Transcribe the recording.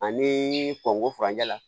Ani kɔnko furancɛ la